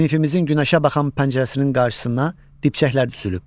Sinifimizin günəşə baxan pəncərəsinin qarşısına dibçəklər düzülüb.